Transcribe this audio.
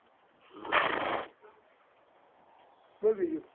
બોલ બીજું?